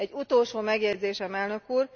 Egy utolsó megjegyzésem, Elnök úr!